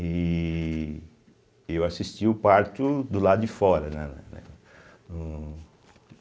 E eu assisti o parto do lado de fora, né? na né no